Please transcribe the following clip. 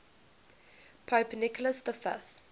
pope nicholas v